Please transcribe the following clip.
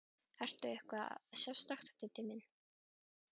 Ertu að gera eitthvað sérstakt, Diddi minn.